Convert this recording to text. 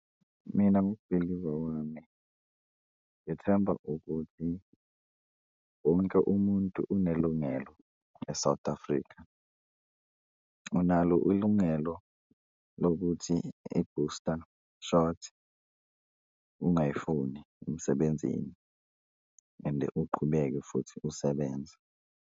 Mina ngokubhiliva kwami ngithemba ukuthi wonke umuntu unelungelo e-South Africa, unalo ulungelo lokuthi i-booster shot ungayifuni emsebenzini and uqhubeke futhi usebenze.